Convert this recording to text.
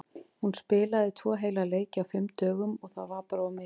Hún spilaði tvo heila leiki á fimm dögum og það var bara of mikið.